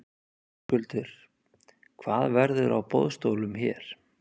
Höskuldur: Hvað verður á boðstólum hér?